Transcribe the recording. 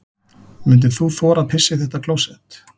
Myndir þú þora að pissa í þetta klósett?